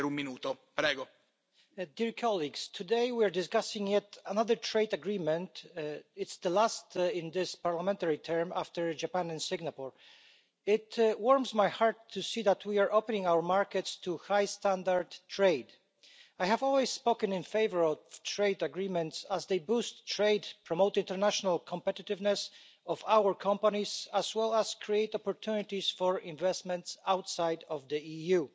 Mr President, today we are discussing yet another trade agreement. It's the last in this parliamentary term after Japan and Singapore. It warms my heart to see that we are opening our markets to high standard trade. I have always spoken in favour of trade agreements as they boost trade, promote international competitiveness of our companies, as well as create opportunities for investments outside of the EU.